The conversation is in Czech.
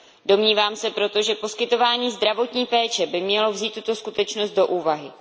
Domnívám se proto, že poskytování zdravotní péče by mělo vzít tuto skutečnost do úvahy.